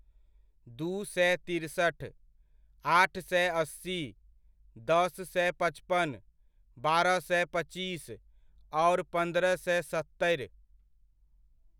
दू सए तिरसठ, आठ सए अस्सी, दस सए पचपन, बारह सए पच्चीस, आओर पन्द्रह सए सत्तरि।